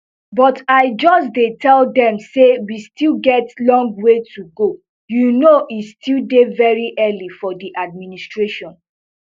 but i just dey tell dem say we still get long way to go you know e still dey very early for di administration